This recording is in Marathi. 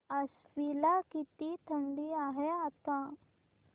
आश्वी ला किती थंडी आहे आता